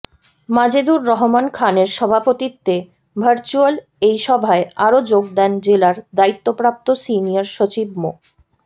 মাজেদুর রহমান খানের সভাপতিত্বে ভার্চুয়াল এই সভায় আরো যোগ দেন জেলার দায়িত্বপ্রাপ্ত সিনিয়র সচিব মো